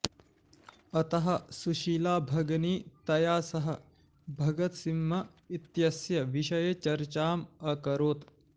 अतः सुशीलाभगिनी तया सह भगत सिंह इत्यस्य विषये चर्चाम् अकरोत्